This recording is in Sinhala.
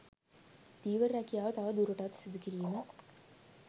ධීවර රැකියාව තව දුරටත් සිදු කිරීම